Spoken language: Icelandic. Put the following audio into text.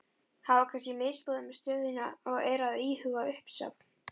Hafa kannski misboðið með stöðuna og eru að íhuga uppsögn?